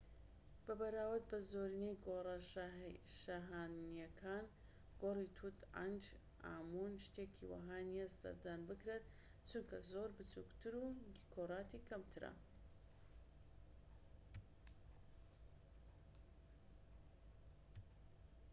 بە بەراورد بە زۆرینەی گۆڕە شاهانەییەکان گۆڕی توت عەنخ ئامون شتێکی وەها نیە سەردان بکرێت چونکە زۆر بچوکترە و دیکۆراتی کەمترە